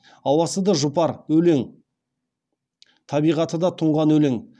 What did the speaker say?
ауасы да жұпар өлең табиғаты да тұнған өлең